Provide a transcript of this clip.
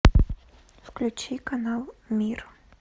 включи канал мир